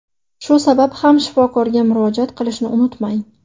Shu sabab ham shifokorga murojaat qilishni unutmang.